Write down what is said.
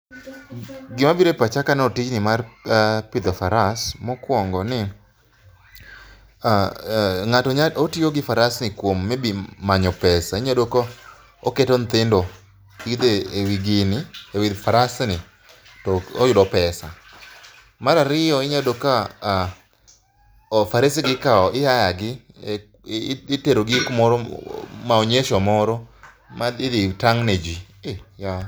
gima biro e pacha kaneno tijni mar pidho faras mokuongo ni ng'ato nyalo tiyo gi faras e manyo pesa inyalo yudo koketo nyithindo idho ewi gini ewi farsni to oyudo pesa mar ariyo inyalo yudo ka farase gi ihaya gi itero gi kamoro e maonyesh o moro ma idhi tang' ne ji.